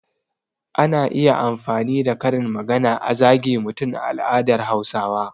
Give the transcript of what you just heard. Ana iya amfani da karin magana a zage mutum a al'adar Hausawa.